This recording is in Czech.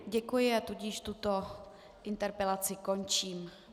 Děkuji a tudíž tuto interpelaci končím.